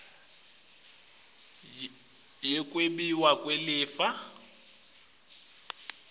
yincwadzi yekwabiwa kwelifa